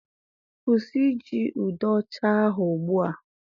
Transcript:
Kwụsị iji ude ocha ahụ ugbu a